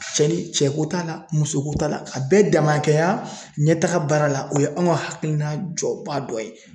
Cɛ ni cɛ ko t'a la musoko t'a la a bɛɛ damakɛya ɲɛtaga baara la o ye anw ka hakilina jɔba dɔ ye .